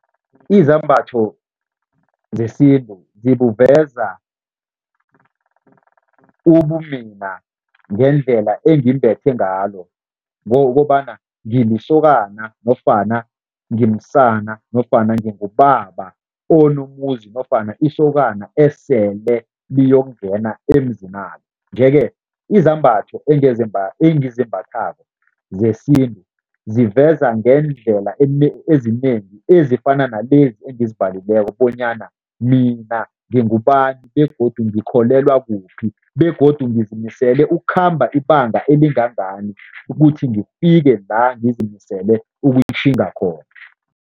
Izambatho zesintu zibuveza ubumina ngendlela engimbethe ngalo, ngokobana ngilisokana nofana ngimsana nofana ngingubaba onomuzi nofana isokana esele liyokungena emzinalo yeke izambatho engizimbathako zesintu ziveza ngeendlela ezinengi ezifana nalezi engizibalileko bonyana mina ngingubani begodu ngikholelwa kuphi begodu ngizimisele ukukhamba ibanga elingangani ukuthi ngifike la ngizimisele ukutjhinga khona.